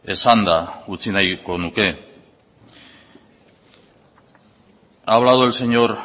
esanda utzi nahiko nuke ha hablado el señor